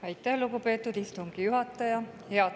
Aitäh, lugupeetud istungi juhataja!